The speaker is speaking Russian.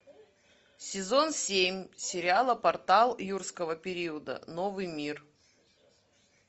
сезон семь сериала портал юрского периода новый мир